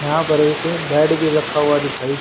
यहां पर एक बैट भी रखा हुआ दिखाइ--